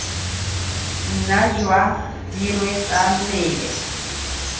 nna jwa dirwe tsa mmele